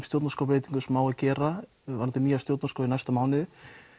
stjórnarskrárbreytingar sem á að gera í næsta mánuði